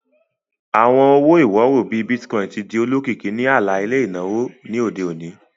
Awọn owo-iworo, bii Bitcoin, ti di olokiki ni ala-ilẹ inawo ti ode oni.